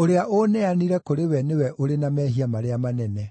ũrĩa ũũneanire kũrĩwe nĩwe ũrĩ na mehia marĩa manene.”